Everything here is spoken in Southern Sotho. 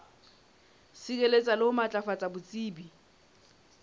sireletsa le ho matlafatsa botsebi